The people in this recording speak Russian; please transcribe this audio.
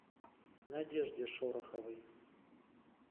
надежде шороховой